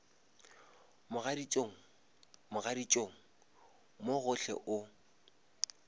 mogaditšong mogaditšong mo gohle o